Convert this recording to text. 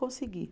Consegui.